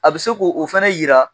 A bɛ se k'o fana jira.